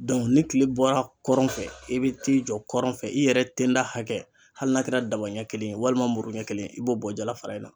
ni kile bɔra kɔrɔn fɛ, i bi t'i jɔ kɔrɔn fɛ, i yɛrɛ ten da hakɛ hali n'a kɛra daba ɲɛ kelen ye, walima muru ɲɛ kelen i b'o bɔ jalafara in na.